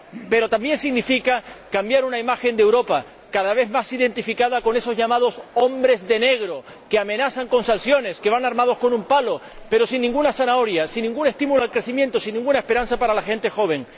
Pero también significa cambiar una imagen de Europa cada vez más identificada con esos llamados hombres de negro, que amenazan con sanciones, que van armados con un palo, pero sin ninguna zanahoria, sin ningún estímulo al crecimiento, sin ninguna esperanza para la gente joven.